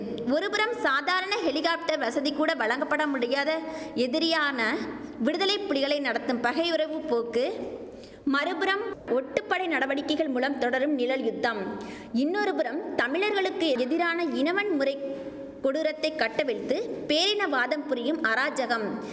ஒரு புறம் சாதாரண ஹெலிக்காப்டர் வசதி கூட வழங்கப்பட முடியாத எதிரியான விடுதலை புலிகளை நடத்தும் பகையுறவுப் போக்கு மறுபுறம் ஒட்டுப்படை நடவடிக்கைகள் மூலம் தொடரும் நிழல் யுத்தம் இன்னொரு புறம் தமிழர்களுக்கு எதிரான இனவன் முறைக் கொடூரத்தைக் கட்டவிழ்த்து பேரினவாதம் புரியும் அராஜகம்